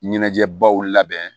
Ɲɛnajɛbaw labɛn